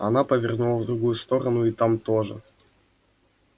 она повернула в другую сторону и там тоже